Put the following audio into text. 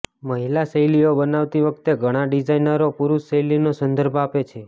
મહિલા શૈલીઓ બનાવતી વખતે ઘણા ડિઝાઇનરો પુરૂષ શૈલીનો સંદર્ભ આપે છે